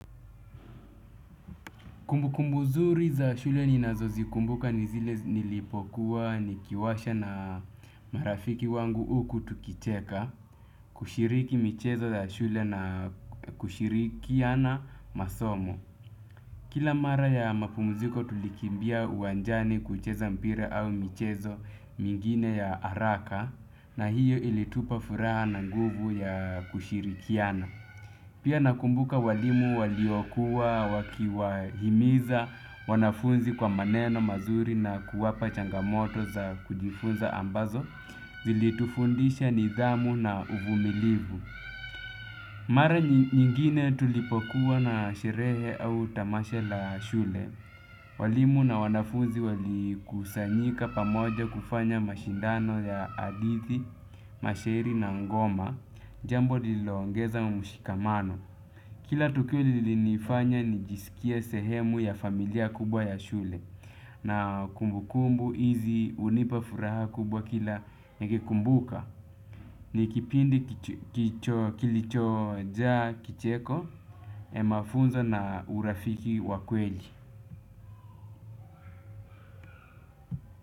Kumbukumbu nzuri za shule ninazozikumbuka ni zile nilipokuwa nikiwasha na marafiki wangu huku tukicheka, kushiriki michezo za shule na kushirikiana masomo. Kila mara ya mapumziko tulikimbia uwanjani kucheza mpira au michezo mingine ya haraka na hiyo ilitupa furaha na nguvu ya kushirikiana. Pia nakumbuka walimu waliokuwa wakiwahimiza wanafunzi kwa maneno mazuri na kuwapa changamoto za kujifunza ambazo zilitufundisha nidhamu na uvumilivu. Mara nyingine tulipokuwa na sherehe au tamasha la shule. Walimu na wanafunzi walikusanyika pamoja kufanya mashindano ya hadithi, mashairi na ngoma. Jambo lililoongeza mshikamano. Kila tukio lilinifanya nijisikie sehemu ya familia kubwa ya shule. Na kumbukumbu hizi hunipa furaha kubwa kila nikikumbuka. Ni kipindi kilichojaa kicheko, mafunzo na urafiki wa kweli.